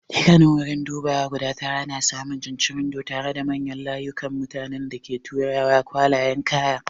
Dukkanin wuraren dubawa guda tara ana samun cincirundo tare da manyan layukan mutanen da ke tura kwalayen kaya.